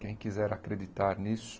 Quem quiser acreditar nisso,